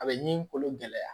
A bɛ ɲinini kolo gɛlɛya